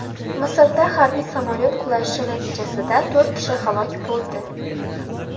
Misrda harbiy samolyot qulashi natijasida to‘rt kishi halok bo‘ldi.